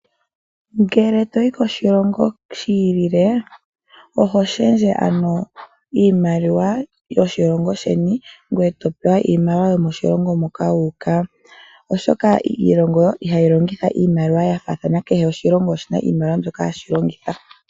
Ngele toyi koshilongo shi ili oho shendje iimaliwa yomoshilongo sheni, ngweye topewa iimaliwa yo moshilongo moka wuuka oshoka iilonga ohayi longitha iimaliwa yafathaana kehe oshilongo oshina iimaliwa mbyoka hashi longitha.